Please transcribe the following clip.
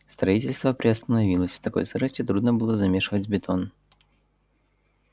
строительство приостановилось в такой сырости трудно было замешивать бетон